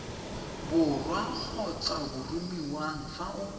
borwa kgotsa boromiwang fa o